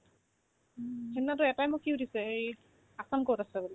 সিদিনাতো এটাইটো মোক কি সুধিছে হেৰি assam ক'ত আছে বোলে ?